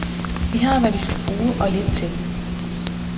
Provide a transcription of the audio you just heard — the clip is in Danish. Vi har, hvad vi skal bruge, og lidt til.